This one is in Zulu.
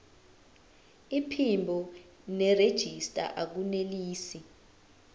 iphimbo nerejista akunelisi